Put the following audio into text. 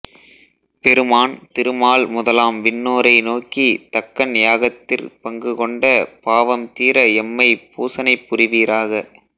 பெருமான் திருமால் முதலாம் விண்ணோரை நோக்கித் தக்கன் யாகத்திற் பங்குகொண்ட பாவம்தீர எம்மைப் பூசனைபுரிவீராக